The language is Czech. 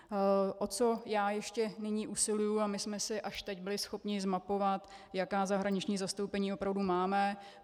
O co já ještě nyní usiluji, a my jsme si až teď byli schopni zmapovat, jaká zahraniční zastoupení opravdu máme.